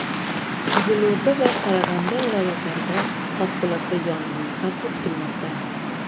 Qizilo‘rda va Qarag‘anda viloyatlarida favqulodda yong‘in xavfi kutilmoqda.